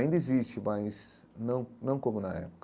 Ainda existe, mas não não como na época.